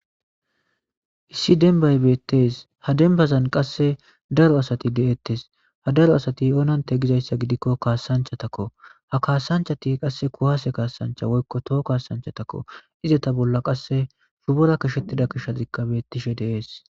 Issi denibay betes ha denibazan qase daro asati de'etes ha daro asati onate gidayisagidiko kasanichatako ha kasanichati ku'ase kasanichata woyiko toho ku'ase kasanichatako izata bolla qasi shupora qashetida qashozika betishe de'es